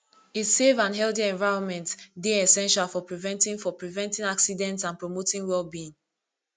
a safe and healthy envirnment dey essential for preventing for preventing accidents and promoting wellbeing